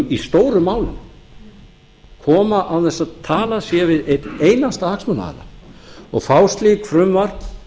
í stórum málum koma án þess að talað sé við neinn einasta hagsmunaaðila og fá slíkt frumvarp